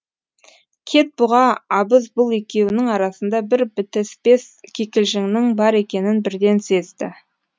кетбұға абыз бұл екеуінің арасында бір бітіспес кикілжіңнің бар екенін бірден сезді